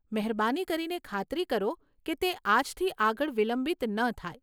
મહેરબાની કરીને ખાતરી કરો કે તે આજથી આગળ વિલંબિત ન થાય.